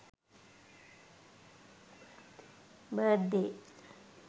birthday